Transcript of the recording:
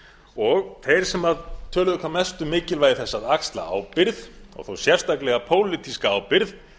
og þeir sem töluðu hvað mest um mikilvægi þess að axla ábyrgð þó sérstaklega pólitíska ábyrgð